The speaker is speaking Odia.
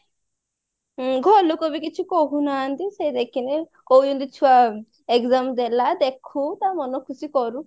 ଘର ଲୋକବି କିଛି କହୁନାହାନ୍ତି ସେ ଦେଖିଲେ କହୁଛନ୍ତି ଇଚ୍ଛା ଆଉ exam ଦେଲା ଦେଖୁ ତ ମନ ଖୁସି କରୁ